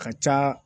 Ka ca